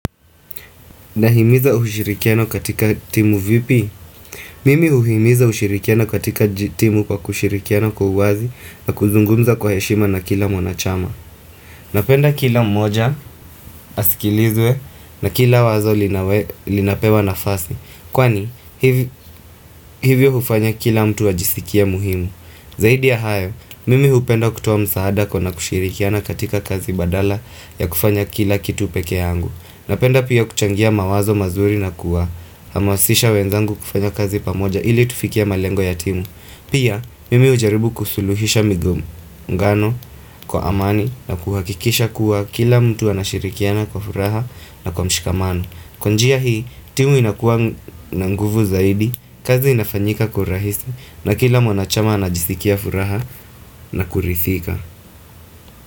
Nahimiza ushirikiano katika timu vipi? Mimi huhimiza ushirikiano katika timu kwa kushirikiano kwa uwazi na kuzungumza kwa heshima na kila mwana chama. Napenda kila mmoja, asikilizwe na kila wazo linawe linapewa nafasi. Kwani, hiv hivyo hufanya kila mtu ajisikie muhimu. Zaidi ya hayo, mimi hupenda kutuoa msaada kwa na kushirikiano katika kazi badala ya kufanya kila kitu peke yangu. Napenda pia kuchangia mawazo mazuri na kuwa. Hamasisha wenzangu kufanya kazi pamoja ili tufikie malengo ya timu. Pia, mimi hujaribu kusuluhisha migongano, kwa amani, na kuhakikisha kuwa kila mtu anashirikiana kwa furaha na kwa mshikamano. Kwa jia hii, timu inakuwa na nguvu zaidi, kazi inafanyika kwa urahisi, na kila mwana chama anajisikia furaha na kuridhika.